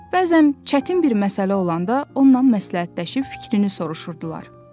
Bəzən çətin bir məsələ olanda onunla məsləhətləşib fikrini soruşurdular.